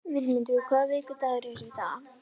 Vilmundur, hvaða vikudagur er í dag?